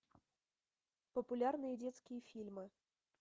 популярные детские фильмы